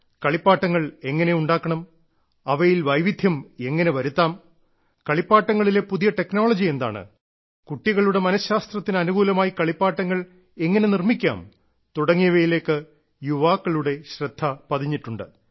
കളിപ്പാട്ടങ്ങൾ എങ്ങനെ ഉണ്ടാക്കണം അവയിൽ വൈവിധ്യം എങ്ങനെ വരുത്താം കളിപ്പാട്ടങ്ങളിലെ പുതിയ ടെക്നോളജി എന്താണ് കുട്ടികളുടെ മനശാസ്ത്രത്തിന് അനുകൂലമായി കളിപ്പാട്ടങ്ങൾ എങ്ങനെ നിർമിക്കാം തുടങ്ങിയവയിലേക്ക് യുവാക്കളുടെ ശ്രദ്ധ പതിഞ്ഞിട്ടുണ്ട്